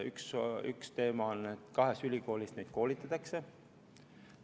See on teema, et koolipsühholooge koolitatakse kahes ülikoolis.